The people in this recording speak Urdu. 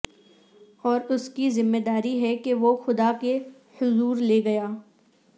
اور اس کی ذمہ داری ہے کہ وہ خدا کے حضور لے گیا